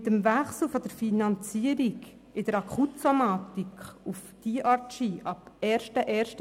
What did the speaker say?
Mit dem Wechsel bei der Finanzierung in der Akutsomatik auf DRG auf den 01. 01.